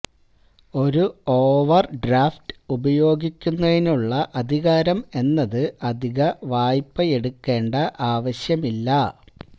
ഒരു overdraft ഉപയോഗിക്കുന്നതിനുള്ള അധികാരം എന്നത് അധിക വായ്പയെടുക്കേണ്ട ആവശ്യമില്ല